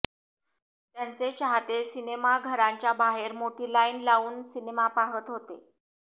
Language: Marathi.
त्यांचे चाहते सिनेमाघरांच्या बाहेर मोठी लाईन लावून सिनेमा पाहत आहे